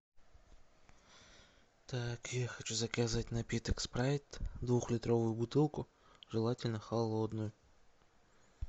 так я хочу заказать напиток спрайт двухлитровую бутылку желательно холодную